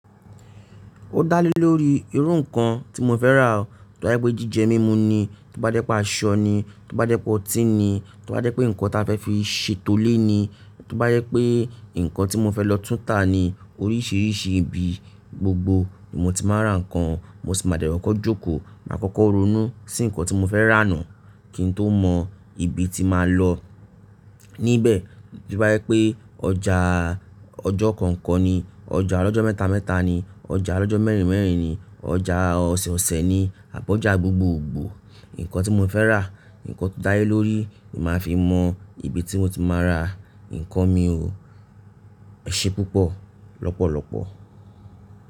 Ó dá lé lórí irú nǹkan tí mo fẹ́ rà. Tí wọ́n bá yẹ̀ pé jíjẹ mímu ni, tí wọ́n bá yẹ̀ pé aṣọ ni, tí wọ́n bá yẹ̀ pé ọtí ni, tí wọ́n bá yẹ̀ pé nǹkan tí a fẹ́ fi ṣètọ́lé ni, tí wọ́n bá yẹ̀ pé nǹkan tí mo fẹ́ lọ túnta ni. Oríṣiríṣi ibi, gbogbo ìbò tí mo ti máa rà nǹkan, mo sì máa dẹ kọ̀kó jókòó. Màá kọ́kọ́ ronú sí nǹkan tí mo fẹ́ rà náà kí n tó mọ ibi tí màá lọ. Níbẹ̀ tí wọ́n bá yẹ̀ pé ọjà ọjọ́ kọ̀ọ̀kan ni, ọjà ọlọ́jọ́ mẹ́ta mẹ́ta ni, ọjà ọlọ́jọ́ mẹ́rin mẹ́rin ni, ọjà ọ̀sẹ̀ ọ̀sẹ̀ ni, àbọ̀ ọjà gbogbo gbòó, nǹkan tí mo fẹ́ rà, nǹkan tó dá lé lórí, màá fi mọ ibi tí mo ti máa ra nǹkan mi o. Ẹ ṣe púpọ̀ lọ́pọ̀lọpọ̀.